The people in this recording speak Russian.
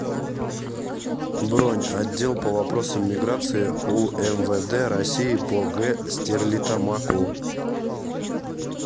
бронь отдел по вопросам миграции умвд россии по г стерлитамаку